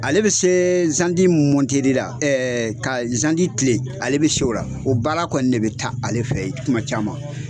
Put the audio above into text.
Ale bi se zandi mɔnteli ɛɛɛ lka zandi lile ale bi se o la o baara kɔni ne be taa ale fɛ ye kuma caman